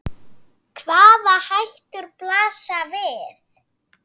Hvaða hættur blasa við?